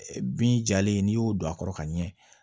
Bin jalen n'i y'o don a kɔrɔ ka ɲɛ